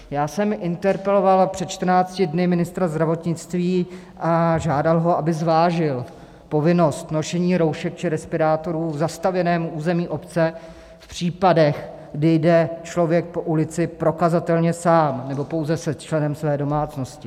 Já jsem interpeloval před 14 dny ministra zdravotnictví a žádal ho, aby zvážil povinnost nošení roušek či respirátorů v zastavěném území obce v případech, kdy jde člověk po ulici prokazatelně sám nebo pouze se členem své domácnosti.